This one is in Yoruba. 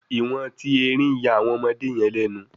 iwọn ti erin ya awọn ọmọdé yen lénu